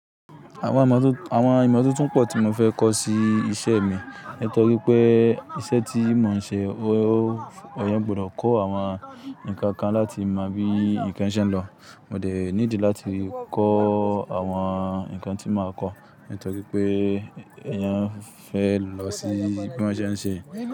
Àwọn ìmọ́tótó pọ̀ tí mo fẹ́ kọ́ sí iṣẹ́ mi nítorí pé iṣẹ́ tí mò ń ṣe ó, eyán gbọdọ̀ kọ́ àwọn nǹkan kan láti mọ bí nǹkan ṣe ń lọ. Mo dẹ̀ ní ìdí láti kọ́ àwọn nǹkan tí màá kọ́ nítorí pé èèyàn fẹ́ lọ sí bí won se nse.